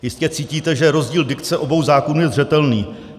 Jistě cítíte, že rozdíl dikce obou zákonů je zřetelný.